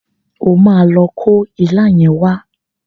O máa lo kó ilá yẹn wá.